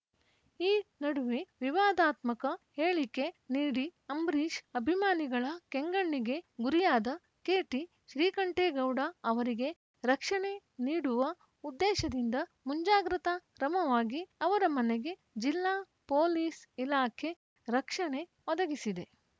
ಈ ನಡುವೆ ವಿವಾದಾತ್ಮಕ ಹೇಳಿಕೆ ನೀಡಿ ಅಂಬರೀಷ್‌ ಅಭಿಮಾನಿಗಳ ಕೆಂಗಣ್ಣಿಗೆ ಗುರಿಯಾದ ಕೆಟಿಶ್ರೀಕಂಠೇಗೌಡ ಅವರಿಗೆ ರಕ್ಷಣೆ ನೀಡುವ ಉದ್ದೇಶದಿಂದ ಮುಂಜಾಗ್ರತಾ ಕ್ರಮವಾಗಿ ಅವರ ಮನೆಗೆ ಜಿಲ್ಲಾ ಪೊಲೀಸ್‌ ಇಲಾಖೆ ರಕ್ಷಣೆ ಒದಗಿಸಿದೆ